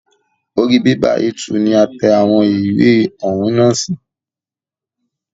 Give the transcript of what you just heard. Orí bẹ́bà A2 ni a tẹ àwọn ìwé ọ̀hún nà sí.